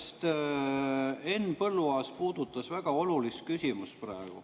Minu meelest Henn Põlluaas puudutas praegu väga olulist küsimust.